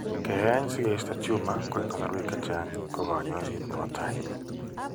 Keeny' si keisto tumor ko eng' kasarwek chechang' ko kaany'ayseet ne po tai.